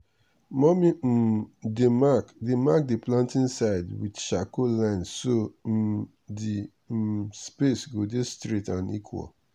mummy um dey mark dey mark the planting side with charcoal line so um the um space go dey straight and equal.